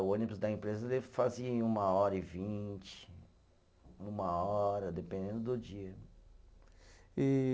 O ônibus da empresa ele fazia em uma hora e vinte, uma hora, dependendo do dia. E